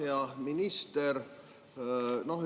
Hea minister!